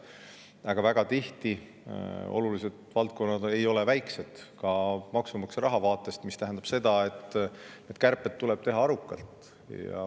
Aga väga tihti ei ole olulised valdkonnad väiksed ka maksumaksja raha vaatest, mis tähendab, et kärpeid tuleb teha arukalt.